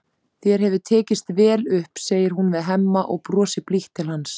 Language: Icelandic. Þér hefur tekist vel upp, segir hún við Hemma og brosir blítt til hans.